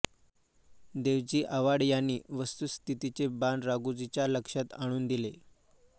देवजी आव्हाड यांनी वस्तुस्थितीचे भान राघोजीच्या लक्षात आणून दिले